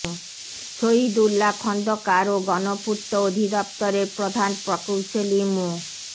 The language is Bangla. শহীদ উল্লা খন্দকার ও গণপূর্ত অধিদপ্তরের প্রধান প্রকৌশলী মো